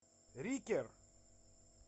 рикер